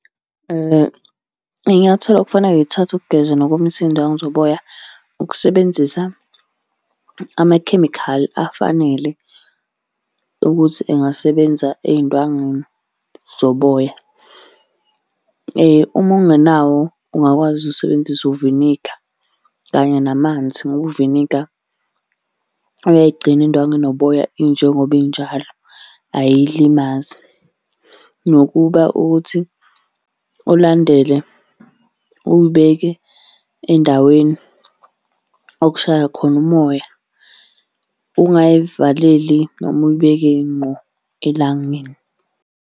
Iy'nyathelo okufanele y'thathwe ukugeza nokomisa iy'ndwangu zoboya, ukusebenzisa amakhemikhali afanele ukuthi engasebenza ey'ndwangwini zoboya. Uma ungenawo ungakwazi ukusebenzisa uviniga kanye namanzi, ngoba uviniga uyayigcina indwangu enoboya injengoba injalo ayilimazi. Nokuba ukuthi ulandele, uyibeke endaweni okushaya khona umoya, ungayivaleli noma uyibeke ngqo elangeni.